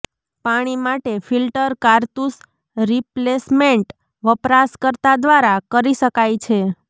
પાણી માટે ફિલ્ટર કારતૂસ રિપ્લેસમેન્ટ વપરાશકર્તા દ્વારા કરી શકાય છે